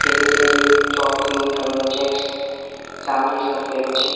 ખેડૂતે ચોકડી કલર નુ ચેક્સ જામલી શર્ટ પહેર્યુ છે.